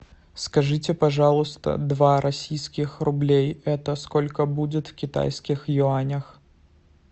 скажите пожалуйста два российских рублей это сколько будет в китайских юанях